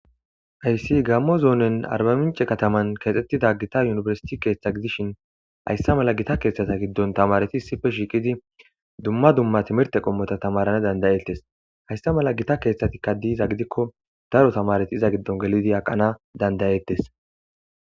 Hayssi gammo zoonen arba mince kataman keexxettida gita yunibersiti keeththa gidishin haysse mala gita keeththata giddon tamareti sife shiiqidi dumma dumma timerte qommota tamarana dandayeettes haysse mala gita keeththatikka diiza gidikko daro tamareti iza giddon gelidi haqana dandayeettes.